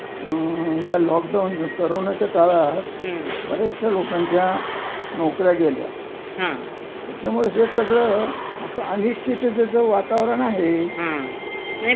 नाही बरोबर आहे, त्या याच्यामध्ये सगळ अनिश्चिततेच वातवरन आहे. आणि आजकाल तर तस बघायला गेलं, तर हे जे नवीन हे आहे व्यवसाय तो काय पहिले इतका नवता पोफावलेला.